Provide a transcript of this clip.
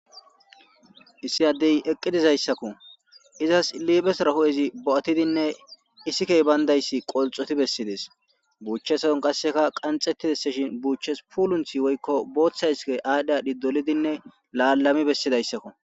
Issi addey eqqi dizayssako izzas liphossora huphphezi bo'atinne iiththikey bayndayssi qolxxoti besides buchchesoy qasseka qanxxetideseshin buchchesoy pulunthhi woykko booththa iththikey adhi adhi lalami bessidaysssko